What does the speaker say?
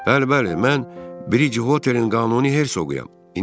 Bəli, bəli, mən Briç Hotelin qanuni Hersoquyam.